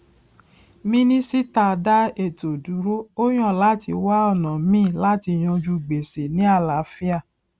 minisita dá ètò dúró ó yàn láti wá ọnà míì láti yanjú gbèsè ní àlàáfíà